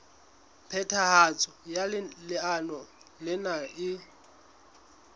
phethahatso ya leano lena e